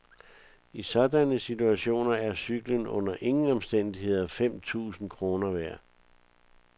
I sådanne situationer er cyklen under ingen omstændigheder fem tusind kroner værd.